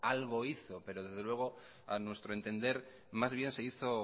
algo hizo pero desde luego a nuestro entender más bien se hizo